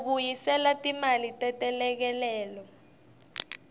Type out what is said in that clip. kubuyiselelwa timali tetelekelelo